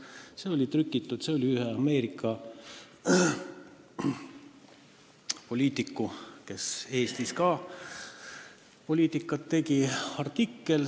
See oli artikkel ühelt Ameerika poliitikult, kes Eestis ka poliitikat tegi.